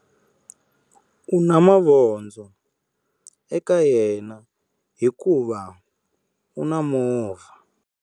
U na mavondzo eka yena hikuva u na movha.